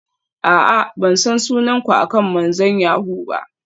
A'a, ban san sunan ku akan manzon yahoo ba.